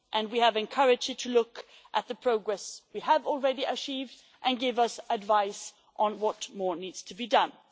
We have encouraged it to look at the progress we have already achieved and give us advice on what more needs to be done.